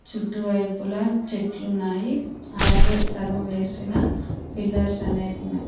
చుట్టువైపుల చెట్లు ఉన్నాయి అలాగే సగం వేసిన పిల్లర్స్ అనేవి ఉన్నాయి.